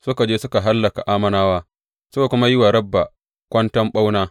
Suka je suka hallaka Ammonawa, suka kuma yi wa Rabba kwanton ɓauna.